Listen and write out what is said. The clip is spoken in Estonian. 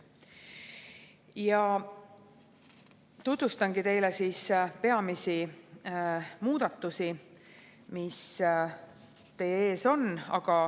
Tutvustangi teile peamisi muudatusi, mis teie ees on.